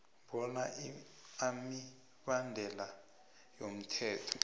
bona imibandela yomthetho